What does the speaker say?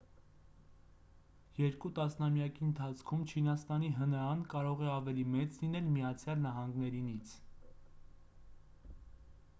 երկու տասնամյակի ընթացքում չինաստանի հնա-ն կարող է ավելի մեծ լինել միացյալ նահանգներինից